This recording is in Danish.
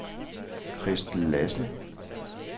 Christel Lassen